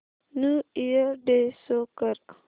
new year day show कर